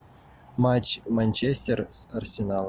матч манчестер с арсеналом